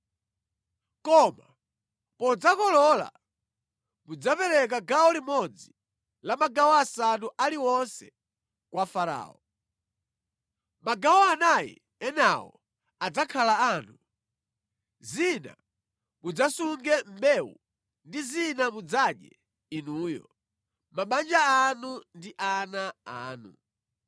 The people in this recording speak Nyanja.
Koma podzakolola, mudzapereka gawo limodzi la magawo asanu aliwonse kwa Farao. Magawo anayi enawo adzakhala anu. Zina mudzasunge mbewu ndi zina mudzadye inuyo, mabanja anu ndi ana anu.”